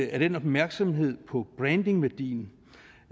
er den opmærksomhed på brandingværdien